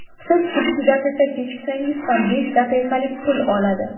Siz ikki daqiqa kechiksangiz ham, besh daqiqalik pul oladi.